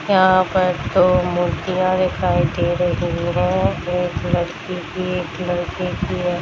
यहाँ पर दो मूर्तियां दिखाई दे रही है एक लड़की की एक लड़के के है।